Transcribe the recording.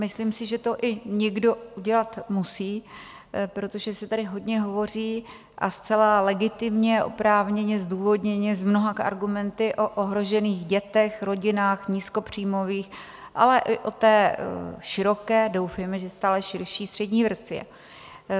Myslím si, že to i někdo udělat musí, protože se tady hodně hovoří, a zcela legitimně, oprávněně, zdůvodněně, s mnoha argumenty, o ohrožených dětech, rodinách nízkopříjmových, ale i o té široké, doufejme, že stále širší střední vrstvě.